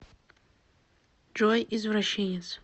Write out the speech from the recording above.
джой извращенец